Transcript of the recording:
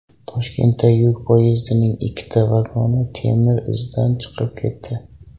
Toshkentda yuk poyezdining ikkita vagoni temir izdan chiqib ketdi .